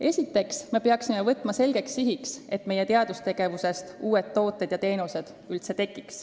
Esiteks, me peame seadma selgeks sihiks, et meie teadustegevusest tekiksid uued tooted ja teenused.